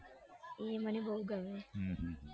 એ મને બૌ ગમે હમ